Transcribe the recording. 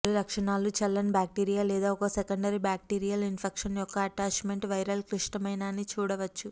పలు లక్షణాలు చల్లని బ్యాక్టీరియా లేదా ఒక సెకండరీ బాక్టీరియల్ ఇన్ఫెక్షన్ యొక్క అటాచ్మెంట్ వైరల్ క్లిష్టమైన అని చూడవచ్చు